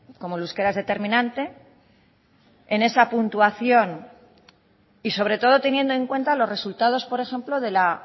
como el euskera es determinante en esa puntuación y sobre todo teniendo en cuenta los resultados por ejemplo de la